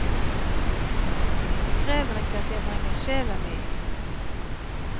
Det krever ikke at jeg vrenger sjela mi.